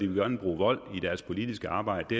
vil bruge vold i deres politiske arbejde det